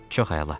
Çox əla.